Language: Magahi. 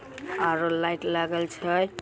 आर अ लाईट लागल छेय।